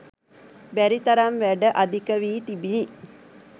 බැරි තරම් වැඩ අධික වී තිබිණි.